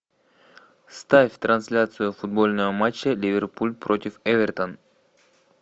ставь трансляцию футбольного матча ливерпуль против эвертон